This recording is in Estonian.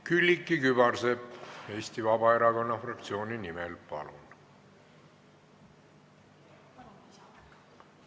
Külliki Kübarsepp Eesti Vabaerakonna fraktsiooni nimel, palun!